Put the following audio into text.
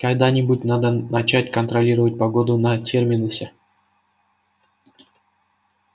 когда-нибудь надо начать контролировать погоду на терминусе